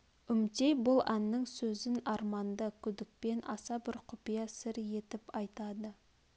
үмтей бұл әннің сөзін арманды күдікпен аса бір құпия сыр етіп айтады